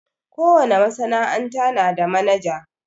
Ko wane masana'anta na da manaja.